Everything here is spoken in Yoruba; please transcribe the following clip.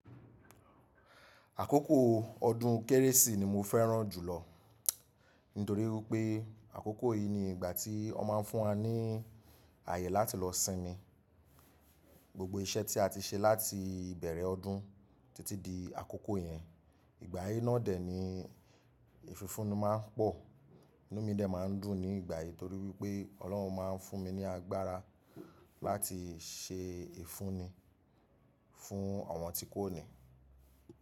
Àkókò ọdún kérésì ni mo fẹ́ràn jùlọ nítorí pé àkókò yìí ni ìgbà tí wọ́n máa ń fún wa ní ààyè láti lọ sinmi. Gbogbo iṣẹ́ tí a ti ṣe láti ìbẹ̀rẹ̀ ọdún títí di àkókò yẹn. Ìgbà yìí náà dè ni ìfífúni máa ń pọ̀, inú mi dà máa ń dùn ní ìgbà yìí torí wípé Ọlọ́run máa ń fún mi ní agbára láti ṣe ìfúnni fún àwọn tí kò ní.